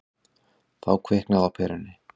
Þá kviknaði á perunni.